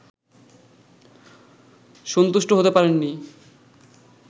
সন্তুষ্ট হতে পারেননি